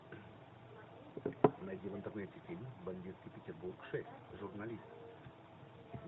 найди в интернете фильм бандитский петербург шесть журналист